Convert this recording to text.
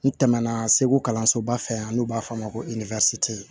N tɛmɛna segu kalansoba fɛ an'u b'a fɔ a ma ko